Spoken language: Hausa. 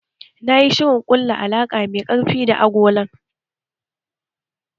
Ya yi shirin ƙulla alaƙa mai ƙarfi da agolan